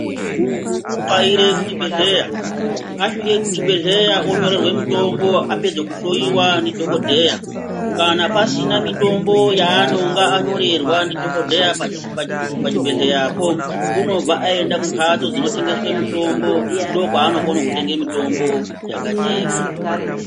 Muntu unotxaire kuchibhedhleya asvike kuchibhedhleya onyorerwa mutombo apedza kuhloiwa ndidhogodheya. Kana pasina mitombo yaanonge anyorerwa ndidhogodheya pachibhedhleyapo unobva aenda kumhatso dzinotengeswe mitombo. Ndokwaano kona kutenga mitombo dzakajeka.